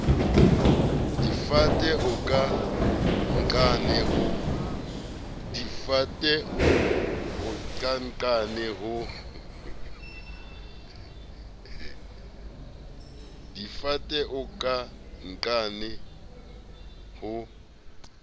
difate o ka nqane ho